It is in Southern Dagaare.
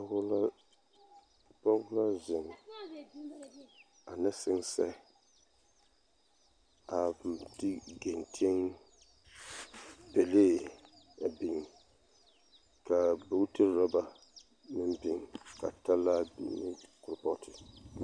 Pɔɡe naŋ zeŋ ane sensɛɛ a biŋ te ɡenteŋ pelee a biŋ ka boɡiti urɔba meŋ biŋ ka talaa biŋ ne kuripooti.